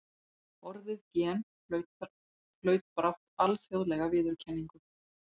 Orðið gen hlaut brátt alþjóðlega viðurkenningu.